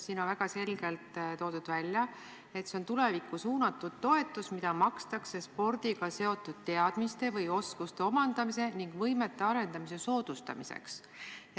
Siin on väga selgelt välja toodud, et see on tulevikku suunatud toetus, mida makstakse spordiga seotud teadmiste või oskuste omandamise ning võimete arendamise soodustamiseks.